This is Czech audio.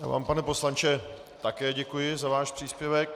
Já vám, pane poslanče, také děkuji za váš příspěvek.